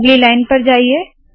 अगली लाइन पर जाइए